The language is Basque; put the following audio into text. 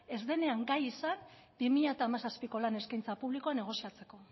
ez denean gai izan bi mila hamazazpiko lan eskaintza publikoa negoziatzeko